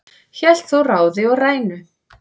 hélt þó ráði og rænu